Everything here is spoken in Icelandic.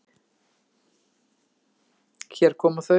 Hér koma þau.